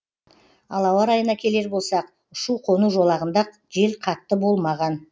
ал ауа райына келер болсақ ұшу қону жолағында жел қатты болмаған